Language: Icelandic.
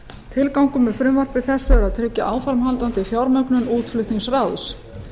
tilgangur með frumvarpi þessu er að tryggja áframhaldandi fjármögnun útflutningsráðs